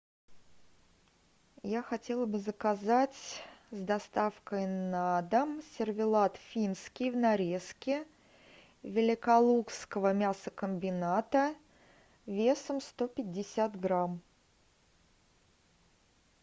я хотела бы заказать с доставкой на дом сервелат финский в нарезке великолукского мясокомбината весом сто пятьдесят грамм